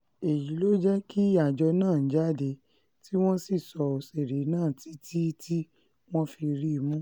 èyí ló jẹ́ kí àjọ náà jáde tí wọ́n sì sọ òṣèré náà títí tí wọ́n fi rí i mú